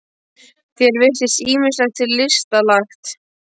Þér virðist ýmislegt til lista lagt.